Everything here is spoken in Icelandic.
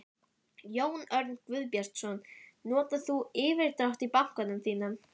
Jón Örn Guðbjartsson: Notar þú yfirdrátt í bankanum þínum?